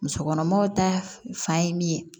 Musokɔnɔmaw ta fan ye min ye